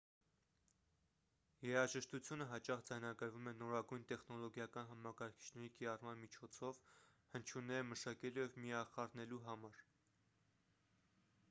երաժշտությունը հաճախ ձայնագրվում է նորագույն տեխնոլոգիական համակարգիչների կիրառման միջոցով հնչյունները մշակելու և միախառնելու համար